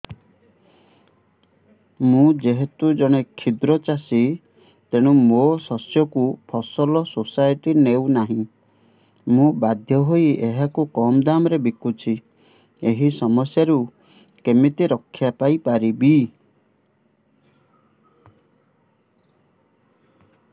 ମୁଁ ଯେହେତୁ ଜଣେ କ୍ଷୁଦ୍ର ଚାଷୀ ତେଣୁ ମୋ ଶସ୍ୟକୁ ଫସଲ ସୋସାଇଟି ନେଉ ନାହିଁ ମୁ ବାଧ୍ୟ ହୋଇ ଏହାକୁ କମ୍ ଦାମ୍ ରେ ବିକୁଛି ଏହି ସମସ୍ୟାରୁ କେମିତି ରକ୍ଷାପାଇ ପାରିବି